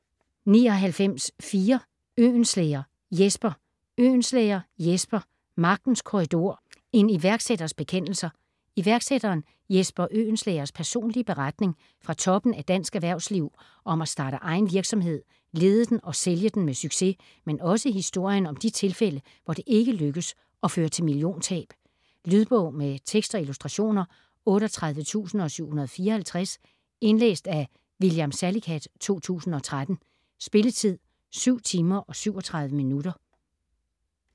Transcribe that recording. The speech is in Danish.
99.4 Øhlenschlæger, Jesper Øhlenschlæger, Jesper: Magtens korridor: en iværksætters bekendelser Iværksætteren Jesper Øhlenschlægers personlige beretning fra toppen af dansk erhvervsliv om at starte egen virksomhed, lede den og sælge den med succes, men også historien om de tilfælde hvor det ikke lykkes og fører til milliontab. Lydbog med tekst og illustrationer 38754 Indlæst af William Salicath, 2013. Spilletid: 7 timer, 37 minutter.